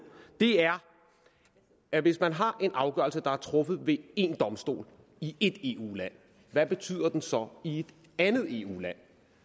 er at hvis man har en afgørelse der er truffet ved én domstol i ét eu land hvad betyder den så i et andet eu land